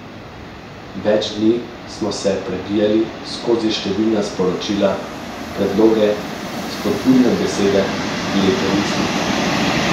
Več dni smo se prebijali skozi številna sporočila, predloge, spodbudne besede, lepe misli.